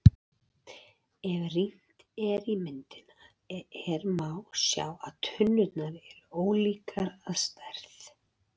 Ef rýnt er í myndina er má sjá að tunnurnar eru ólíkar að stærð.